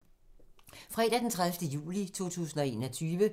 Fredag d. 30. juli 2021